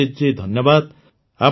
ଅଭିଜିତ୍ ଜୀ ଧନ୍ୟବାଦ